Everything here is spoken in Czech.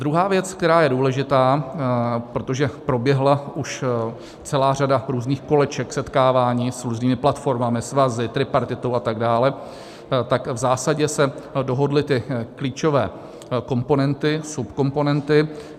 Druhá věc, která je důležitá, protože proběhla už celá řada různých koleček, setkávání s různými platformami, svazy, tripartitou atd., tak v zásadě se dohodly ty klíčové komponenty, subkomponenty.